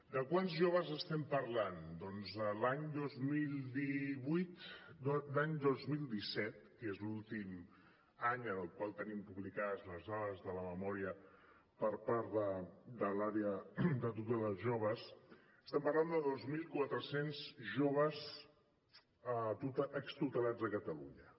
de quants joves estem parlant doncs l’any dos mil disset que és l’últim any del qual tenim publicades les dades de la memòria per part de l’àrea de joves tutelats estem parlant de dos mil quatre cents joves extutelats a catalunya